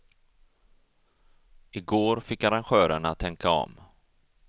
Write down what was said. I går fick arrangörerna tänka om.